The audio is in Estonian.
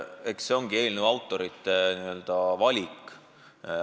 Eks see ongi eelnõu autorite valik.